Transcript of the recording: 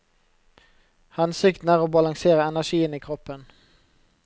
Hensikten er å balansere energien i kroppen.